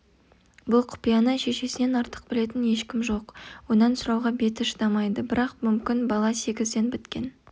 бұл құпияны шешесінен артық білетін ешкім жоқ онан сұрауға беті шыдамайды бірақ мүмкін бала сегізден біткен